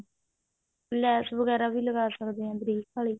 ਲੈਸ ਵਗੇਰਾ ਵੀ ਲਗਾ ਸਕਦੇ ਹਾਂ ਬਰੀਕ ਵਾਲੀ